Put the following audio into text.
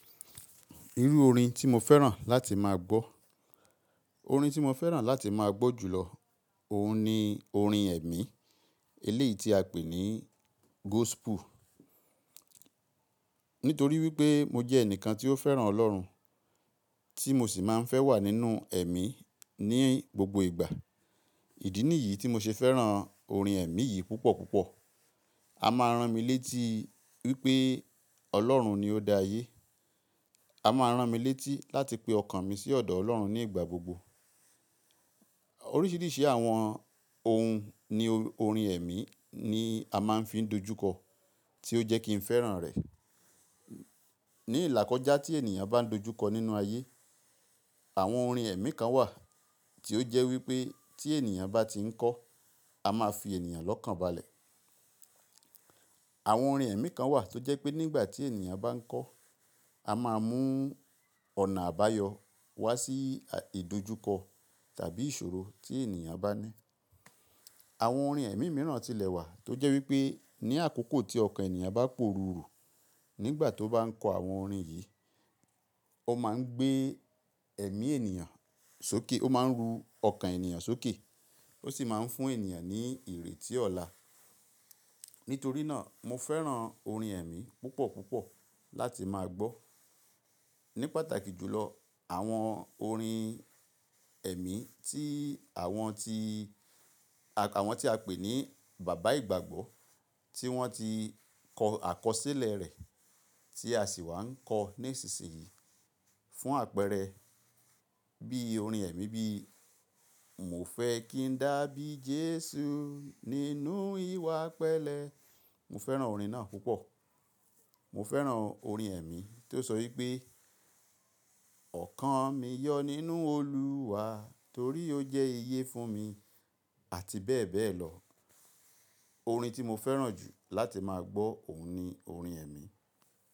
Irú orin tí mo fẹ́ràn láti máa gbọ́, orin tí mo fẹ́ràn láti máa gbọ́ jùlọ, òun ni orin ẹ̀mí, eléyìí tí a pè ní gospel. Nítorí wípé mo jẹ́ ẹnìkan tí ó fẹ́ràn Ọlọ́run, tí mo sì máa ń fẹ́ wà nínú ẹ̀mí ní gbogbo ìgbà. Ìdí nìyí tí mo ṣe fẹ́ràn orin ẹ̀mí yìí púpọ̀ púpọ̀. A máa rán mi létí wípé Ọlọ́run ni ó dá ayé. A máa rán mi létí láti pe ọkàn mi sí ọ̀dọ̀ Ọlọ́run ní ìgbà gbogbo. Oríṣìíríṣìí àwọn ohun ni orin ẹ̀mí ni a máa ń fi dojúkọ, tí ó jẹ́ kí n fẹ́ràn rẹ̀. Ni ìlàkọ́jà tí ènìyàn bá ń dojúkọ nínú ayé, àwọn orin ẹ̀mí kan wà tí ó jẹ́ wípé tí ènìyàn bá ti ń kọ́, a máa fi ènìyàn lọ́kànbalẹ̀. Àwọn orin ẹ̀mí kan wà tó jẹ́ pé nígbà tí ènìyàn bá ń kọ́, a máa mú ọ̀nà àbáyọ wá sí ìdojúkọ tàbí ìṣòro tí ènìyàn bá ní. Àwọn orin ẹ̀mí mìíràn tilẹ̀ wà tó jẹ́ wípé ní àkókò tí ọkàn ènìyàn bá pòrùrù nígbà tó bá ń kọ àwọn orin yìí, ó máa ń gbé ẹ̀mí ènìyàn sókè, ó máa ń ru ọkàn ènìyàn sókè, ó sì máa ń fún ènìyàn ní ìrètí ọ̀la. Nítorí náà mo fẹ́ràn orin ẹ̀mí púpọ̀ púpọ̀ láti máa gbọ́. Ní pàtàkì jùlọ àwọn orin ẹ̀mí tí àwọn tí, àwọn tí a pè ní bàbá ìgbàgbọ́ tí wọ́n ti kọ àkọsílẹ̀ rẹ̀ tí a sì wà ń kọ ní ìsinsìnyí. Fún àpẹẹrẹ bí orin ẹ̀mí bí mo fẹ́ kí ń dàbí Jésù nínú ìwà pẹ́lẹ́. Mo fẹ́ràn orin náà púpọ̀. Mo fẹ́ràn orin ẹ̀mí tí ó sọ wípé ọ̀kan mi yọ nínú Olúwa torí ó jẹ́ iye fún mi àti bẹ́ẹ̀ bẹ́ẹ̀ lọ. Orin tí mo fẹ́ràn jù láti máa gbọ́ òun ni orin ẹ̀mí.